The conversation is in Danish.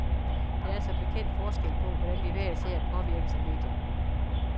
Der er som bekendt forskel på, hvordan vi hver især påvirkes af medierne.